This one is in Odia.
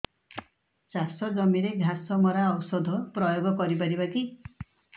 ଚାଷ ଜମିରେ ଘାସ ମରା ଔଷଧ ପ୍ରୟୋଗ କରି ପାରିବା କି